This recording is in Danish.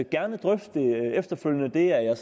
gerne drøfte det efterfølgende det er jeg